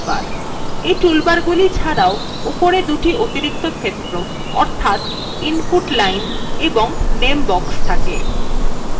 এই টুলবারগুলি ছাড়াও উপরে দুটি অতিরিক্ত ক্ষেত্র অর্থাৎ input line এবং name box থাকে